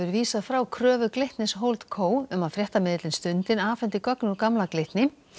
vísað frá kröfu Glitnis Holdco um að fréttamiðillinn Stundin afhendi gögn úr gamla Glitni